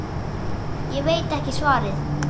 Ég veit ekki svarið.